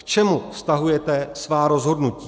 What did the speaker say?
K čemu vztahujete svá rozhodnutí?